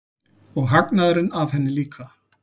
Og hagnaðurinn af henni líka.